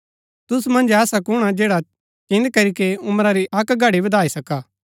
तुसु मन्ज ऐसा कुणआ जैडा चिन्‍द करीके उमरा री अक्क घड़ी वधाई सका